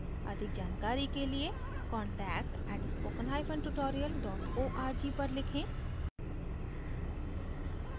अधिक जानकारी के लिए contact @spoken hyphen tutorial dot org पर लिखें